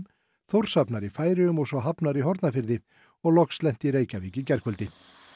Þórshafnar í Færeyjum og svo Hafnar í Hornafirði og loks lent í Reykjavík í gærkvöldi